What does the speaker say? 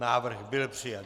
Návrh byl přijat.